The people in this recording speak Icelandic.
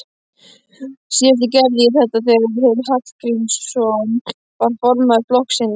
Síðast gerði ég þetta þegar Geir Hallgrímsson var formaður flokksins.